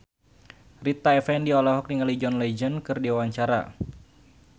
Rita Effendy olohok ningali John Legend keur diwawancara